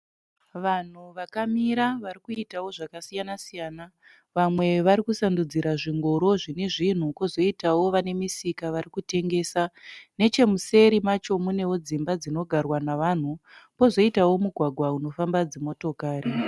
Vanhu vakamira vari kuitawo zvakasiyana -siyana vamwe vari kusandudzira zvingoro zvine zvinhu, kozoitawo vane misika vari kutengesa .Nechemuseri macho mune dzimba dzinogarwa nevanhu kozoitawo mugwagwa unofambawo dzimotokari.